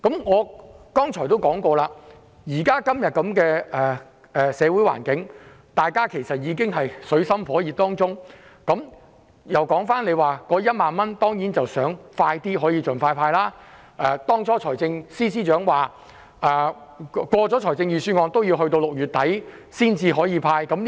我剛才亦提及，今天的社會局面，其實大家也處於水深火熱之中，我當然希望可以盡快派發1萬元，當初財政司司長也說，通過預算案後仍要等到6月底才能派發。